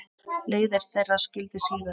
Leiðir þeirra skildi síðar.